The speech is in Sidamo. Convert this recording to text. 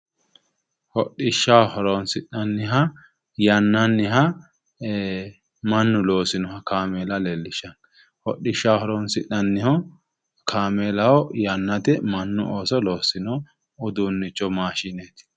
Hodhishsha horoonsi'nanniha yannanniha mannu loosinoha kaameela leellishshanno. Hodhishshaho horoonsi'nanniho kaameelaho. Yannate mannu ooso loossino uduunnicho maashineeti.